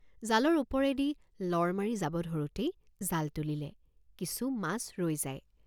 জালৰ ওপৰেদি লৰ মাৰি যাব ধৰোঁতেই জাল তুলিলে কিছু মাছ ৰৈ যায়।